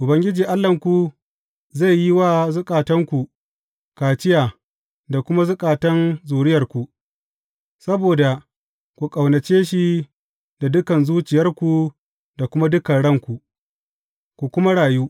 Ubangiji Allahnku zai yi wa zukatanku kaciya da kuma zukatan zuriyarku, saboda ku ƙaunace shi da dukan zuciyarku da kuma dukan ranku, ku kuma rayu.